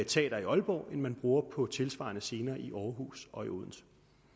teater i aalborg end man bruger på tilsvarende scener i aarhus og i odense